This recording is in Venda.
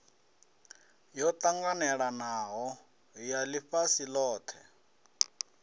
yo ṱanganelanaho ya ḽifhasi ḽothe